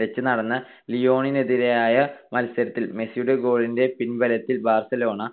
വെച്ച് നടന്ന ലിയോണിനെതിരായ മത്സരത്തിൽ മെസ്സിയുടെ goal ന്റെ പിൻബലത്തിൽ ബാർസലോണ